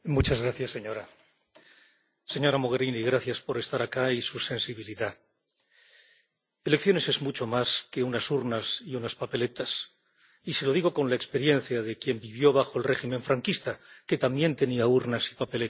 Señora presidenta, señora Mogherini, gracias por estar aquí y por su sensibilidad. Las elecciones son mucho más que unas urnas y unas papeletas, y se lo digo con la experiencia de quien vivió bajo el régimen franquista, que también tenía urnas y papeletas.